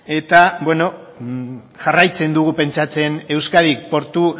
eta jarraitzen dugu pentsatzen euskadik portu